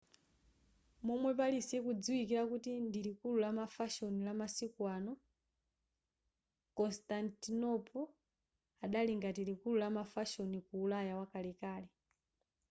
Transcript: momwe paris ikudziwikira kuti ndi likulu lamafashoni lamasiku ano constantinople adali ngati likulu la mafashoni ku ulaya wakalekale